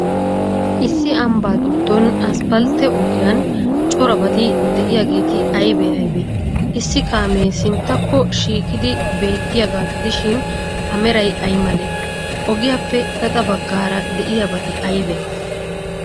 Issi ambbaa giddon asppaltte ogiyan corabati de'iyaageeti aybee aybee? Issi kaamee sinttakko shiiqidi beettiyaagaa gidishin,A meray ay malee? Ogiyaappe gaxa baggaara de'iyabati aybee?